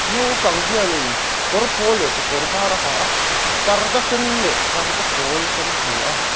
naupang hian in kawr pawl leh kekawr var a ha a parda sen leh parda pawl ka hmu a.